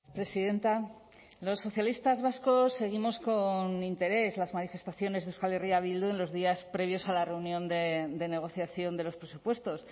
presidenta los socialistas vascos seguimos con interés las manifestaciones de euskal herria bildu en los días previos a la reunión de negociación de los presupuestos